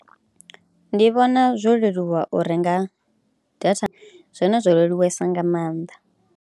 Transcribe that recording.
Ndi vhona zwo leluwa u renga data zwone zwo leluwesa nga maanḓa.